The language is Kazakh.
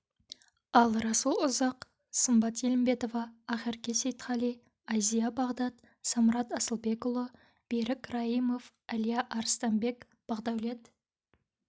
ал расул ұзақ сымбат елімбетова ақерке сейітқали айзия бағдат самрат асылбекұлы берік раимов әлия арыстанбек бақдәулет